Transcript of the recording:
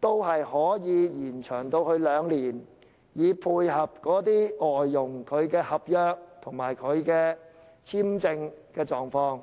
法定時效限制也可延長至兩年，以配合外傭的合約和簽證情況。